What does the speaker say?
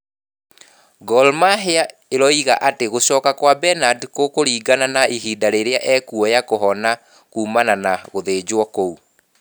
Gor Mahia ĩroiga ati gucoka kwa Bernard gũkũringana na ihinda rĩrĩa ekuoya kũhona kũmana na gũthĩnjwo kũu